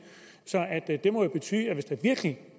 det må jo betyde at hvis det virkelig